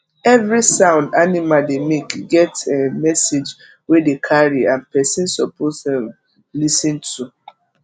every sound animal dey make get um message wey dey carry and person suppose um lis ten to